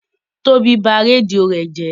Tóbi ba rédíò rẹ̀ jẹ́.